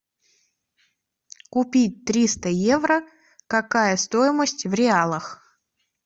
купить триста евро какая стоимость в реалах